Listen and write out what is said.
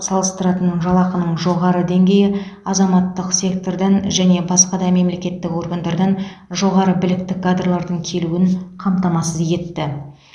салыстырылатын жалақының жоғары деңгейі азаматтық сектордан және басқа да мемлекеттік органдардан жоғары білікті кадрлардың келуін қамтамасыз етті